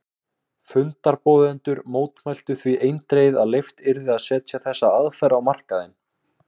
Fundarboðendur mótmæltu því eindregið að leyft yrði að setja þessa aðferð á markaðinn.